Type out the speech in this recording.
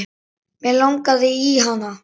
Mig langaði í hana.